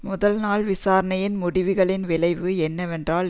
முதல் நாள் விசாரணையின் முடிவுகளின் விளைவு என்னவென்றால்